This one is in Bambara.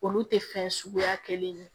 Olu tɛ fɛn suguya kelen ye